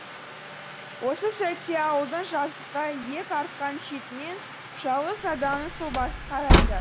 осы сәтте ауылдың жазыққа иек артқан шетінен жалғыз адамның сұлбасы қарайды